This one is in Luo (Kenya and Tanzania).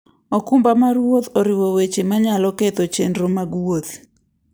okumba mar wuoth oriwo weche manyalo ketho chenro mag wuoth.